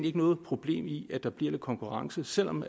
ikke noget problem i at der bliver lidt konkurrence selv om